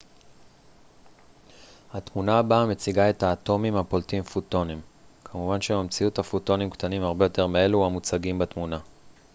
התמונה הבאה מציגה את האטומים הפולטים פוטונים כמובן שבמציאות הפוטונים קטנים הרבה יותר מאלו המוצגים בתמונה